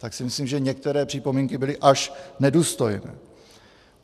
Tak si myslím, že některé připomínky byly až nedůstojné.